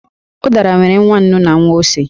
Ụ̀dàrà nwere nwa ǹnú na nwa ósé